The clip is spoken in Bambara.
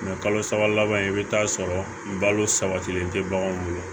kalo saba laban in i bi t'a sɔrɔ balo sabatilen tɛ baganw bolo